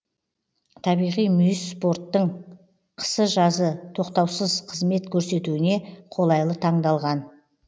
табиғи мүйіс порттың қысы жазы тоқтаусыз қызмет көрсетуіне қолайлы таңдалған